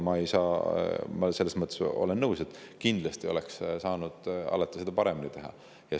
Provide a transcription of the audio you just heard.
Ma selles mõttes olen nõus, et kindlasti saab alati paremini teha.